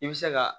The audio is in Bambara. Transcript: I bɛ se ka